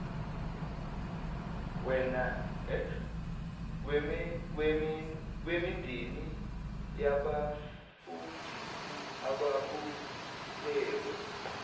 wemindeni yabefundisi ababulewe